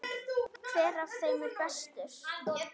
Hver af þeim er bestur?